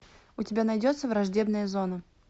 у тебя найдется враждебная зона